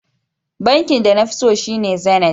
Bankin da nafi so shine Zenith.